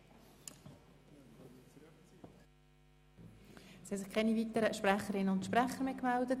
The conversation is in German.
Es haben sich keine weiteren Einzelsprecherinnen und Einzelsprecher gemeldet.